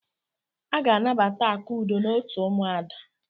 Aga anabata Akudo n'otu ụmụada.